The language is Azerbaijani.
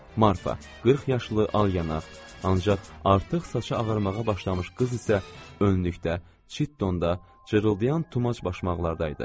Marfa, 40 yaşlı alyanaq, ancaq artıq saçı ağarmağa başlamış qız isə önlükdə, çitdonda, cırıldayan tumac başmaqda idi.